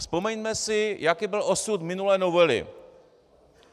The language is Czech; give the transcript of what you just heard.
Vzpomeňme si, jaký byl osud minulé novely.